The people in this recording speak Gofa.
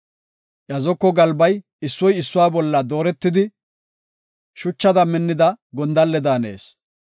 Iya zoko galbay issoy issuwa bolla dooretidi; shuchada minnida gondalle daanees.